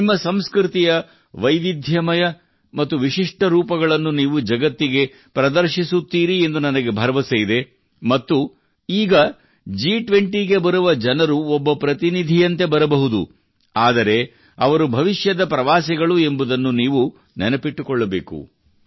ನಿಮ್ಮ ಸಂಸ್ಕೃತಿಯ ವೈವಿಧ್ಯಮಯ ಮತ್ತು ವಿಶಿಷ್ಟ ರೂಪಗಳನ್ನು ನೀವು ಜಗತ್ತಿಗೆ ಪ್ರದರ್ಶಿಸುತ್ತೀರಿ ಎಂದು ನನಗೆ ಭರವಸೆಯಿದೆ ಮತ್ತು ಈಗ ಜಿ 20 ಗೆ ಬರುವ ಜನರು ಒಬ್ಬ ಪ್ರತಿನಿಧಿಯಂತೆ ಬರಬಹುದು ಆದರೆ ಅವರು ಭವಿಷ್ಯದ ಪ್ರವಾಸಿಗಳು ಎಂಬುದನ್ನು ನೀವು ನೆನಪಿಟ್ಟುಕೊಳ್ಳಬೇಕು